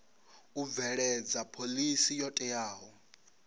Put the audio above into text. u bveledza phoḽisi yo teaho